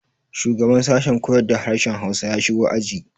Shugaban sashen koyar da harshen Hausa ya shigo aji.